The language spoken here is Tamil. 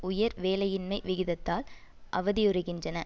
உயர் வேலையின்மை விகிதத்தால் அவதியுறுகின்றன